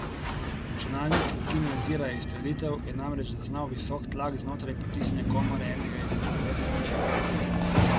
Računalnik, ki nadzira izstrelitev, je namreč zaznal visok tlak znotraj potisne komore enega izmed devetih motorjev.